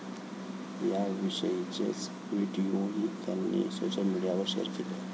याविषयीचेच व्हिडिओही त्यांनी सोशल मीडियावर शेअर केले.